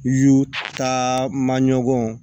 Y'u taa maɲumanko